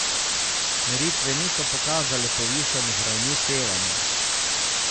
Meritve niso pokazale povišanih ravni sevanja.